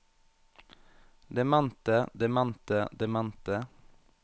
demente demente demente